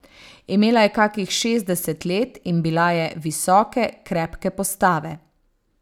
Imela je kakih šestdeset let in bila je visoke, krepke postave.